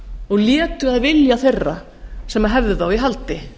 og létu að vilja þeirra sem hefðu þá í haldi